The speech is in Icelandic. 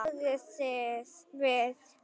Hún þagði við.